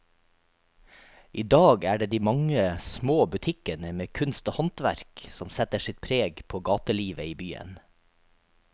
I dag er det de mange små butikkene med kunst og håndverk som setter sitt preg på gatelivet i byen.